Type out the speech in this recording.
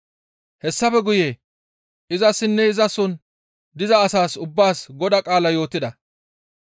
Hessafe guye izassinne izason diza asaas ubbaas Godaa qaalaa yootida.